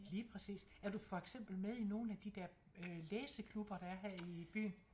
Lige præcis er du for eksempel med i nogle af de dér øh læseklubber der er her i byen?